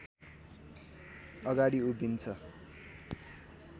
अगाडि उभिन्छ